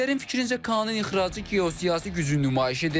Ekspertlərin fikrincə KAAN-ın ixracı geosiyasi gücün nümayişidir.